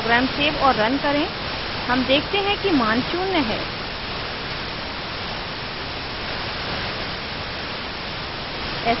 program save और run करें हम देखते हैं कि मान शून्य है